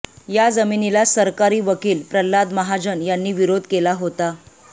या जामिनाला सरकारी वकील प्रल्हाद महाजन यांनी विरोध केला होता